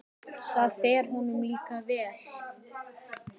Það fer honum líka vel.